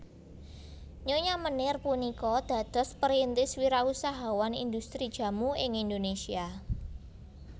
Nyonya Meneer punika dados perintis wirausahawan indhustri jamu ing Indonesia